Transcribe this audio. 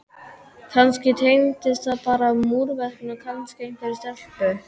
kannski tengdist það bara múrverkinu og kannski einhverri stelpu.